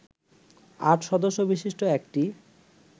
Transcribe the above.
আট সদস্যবিশিষ্ট একটি